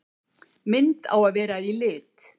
Mynd á að vera í lit.